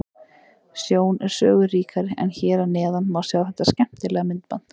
Sjón er sögu ríkari en hér að neðan má sjá þetta skemmtilega myndband.